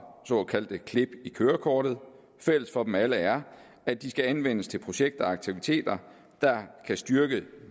såkaldte klip i kørekortet fælles for dem alle er at de skal anvendes til projekter og aktiviteter der kan styrke